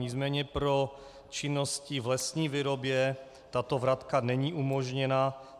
Nicméně pro činnosti v lesní výrobě tato vratka není umožněna.